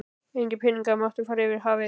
Engir peningar máttu fara yfir hafið.